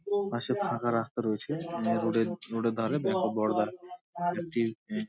পশে ফাঁকা রাস্তা রয়েছে এ রোড -এর রোড -এর ধরে ব্যাঙ্ক অফ বারোদা একটি এহ --